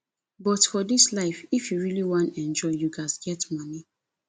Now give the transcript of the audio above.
but for dis life if you really wan enjoy you ghas get money